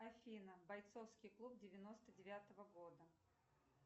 афина бойцовский клуб девяносто девятого года